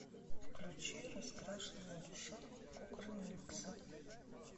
включи раскрашенная душа кукрыниксы